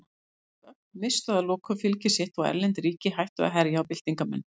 Róttæk öfl misstu að lokum fylgi sitt og erlend ríki hættu að herja á byltingarmenn.